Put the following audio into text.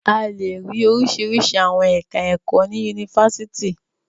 A lè rí oríṣiríṣi àwọn ẹ̀ka-ẹ̀kọ́ ní Yunifásítì.